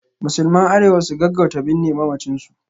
Musulman Arewa su gaggauta binne mamacin su